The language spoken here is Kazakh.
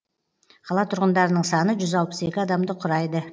қала тұрғындарының саны жүз алпыс екі адамды құрайды